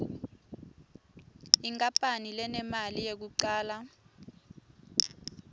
inkapani lenemali yekucala